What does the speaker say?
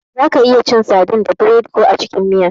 Zaka iya cin sadin da biredi ko a cikin miya.